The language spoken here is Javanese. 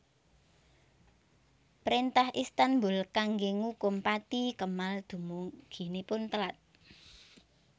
Préntah Istanbul kanggé ngukum pati Kemal dumuginipun telat